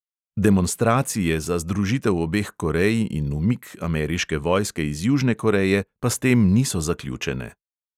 Demonstracije za združitev obeh korej in umik ameriške vojske iz južne koreje pa s tem niso zaključene.